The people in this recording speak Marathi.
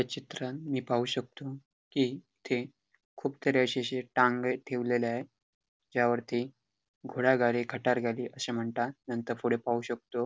ह्या चित्राण मी पाहू शकतो की इथे खूप सारे असे अशे टांगे ठेवलेले आहेत त्यावरती घोडा गाडी खटार गाडी असे म्हणता नंतर पुढे पाहू शकतो --